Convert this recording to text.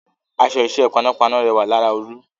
Aṣọ iṣẹ́ panápaná rẹwà lára Olú